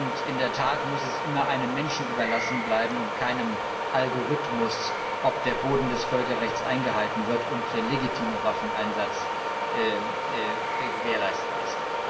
Und in der Tat muss es immer einem Menschen überlassen bleiben und keinem Algorithmus, ob der Rahmen des Völkerrechts eingehalten wird und der legitime Waffeneinsatz gewährleistet ist.